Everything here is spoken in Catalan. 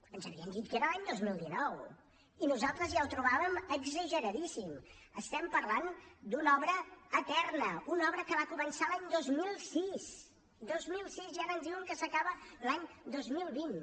ens havien dit que era l’any dos mil dinou i nosaltres ja ho trobàvem exageradíssim estem parlant d’una obra eterna una obra que va començar l’any dos mil sis dos mil sis i ara ens diuen que s’acaba l’any dos mil vint